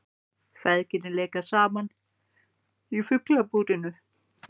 Feðgin leika saman í Fuglabúrinu